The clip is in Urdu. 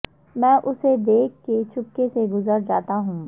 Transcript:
میں اسے دیکھ کے چپکے سے گذر جاتا ہوں